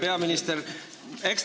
Hea peaminister!